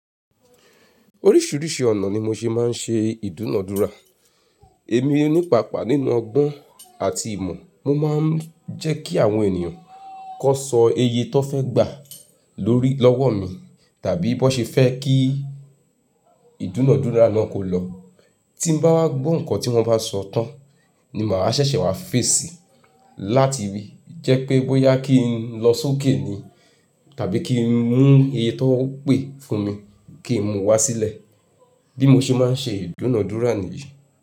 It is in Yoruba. Oríṣiríṣi ọ̀nà ni mo ṣe máa ń ṣe ìdúnàdúrà. Èmi ní paapàa nínú ọgbọ́n àti ìmọ̀. Mo máa ń jẹ́ kí àwọn ènìyàn kó sọ eye tó fẹ́ gbà lórí lọ́wọ́ mi, tàbí bó ṣe fẹ́ kí ìdúnàdúrà náà kó lọ. Tí bá wá gbọ́ nǹkan tí wọ́n bá sọ tán ni màá wa ṣẹ̀ṣẹ̀ wá fèsì láti rí jẹ́ pé bóyá kí n lọ sókè ni tàbí kí n mú eye tó pè fún mi kí n múu wá sílẹ̀. Bí mo ṣe máa ń ṣe ìdúnàádúrà nìyí.